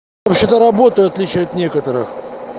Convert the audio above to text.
вообще то работаю в отличие от некоторых